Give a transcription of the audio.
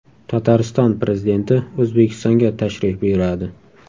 Tatariston prezidenti O‘zbekistonga tashrif buyuradi.